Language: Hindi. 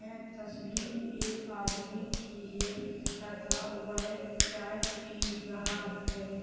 यह तस्वीर एक आदमी की है तथा वह चाय पी रहा है।